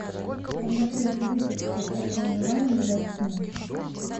подготовить выписку о проживании в гостинице